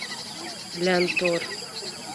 лянтор